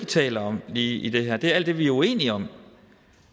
taler om i i det her er alt det vi er uenige om